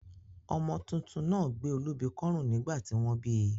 Ọmọ tuntun náà gbé olúbi kọ́rùn nígbà tí wọ́n bíi